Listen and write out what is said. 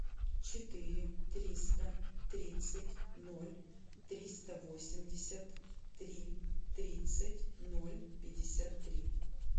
четыре триста тридцать ноль триста восемьдесят три тридцать ноль пятьдесят три